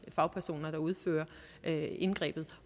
fagpersoner der udfører indgrebet